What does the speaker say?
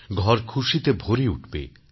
ঘর খুশিতে ভরে উঠবে